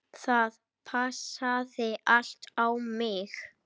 Það passaði allt á mig.